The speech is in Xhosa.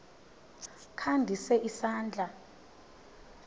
kha ndise isandla